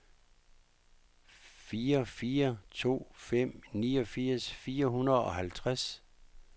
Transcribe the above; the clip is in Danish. fire fire to fem niogfirs fire hundrede og halvtreds